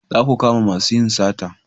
Za ku kama masu yin sata!